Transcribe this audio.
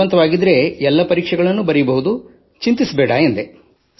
ಜೀವಂತವಿದ್ದರೆ ಎಲ್ಲ ಪರೀಕ್ಷೆಗಳು ಬರೆಯಬಹುದು ಚಿಂತಿಸಬೇಡ ಎಂದೆ